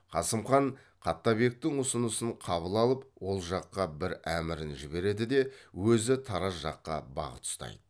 қасым хан қаттабектің ұсынысын қабыл алып ол жаққа бір әмірін жібереді де өзі тараз жаққа бағыт ұстайды